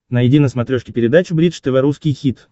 найди на смотрешке передачу бридж тв русский хит